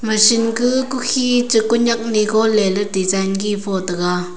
machine ga kukhi cha koi nyak nigo leley design ki fo taiga.